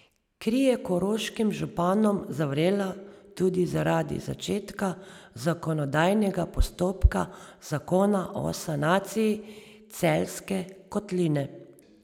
Kri je koroškim županom zavrela tudi zaradi začetka zakonodajnega postopka zakona o sanaciji Celjske kotline.